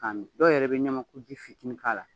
K'a min, dɔw yɛrɛ be ɲamaku ji fitini k'a la.